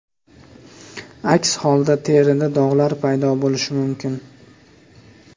Aks holda, terida dog‘lar paydo bo‘lishi mumkin.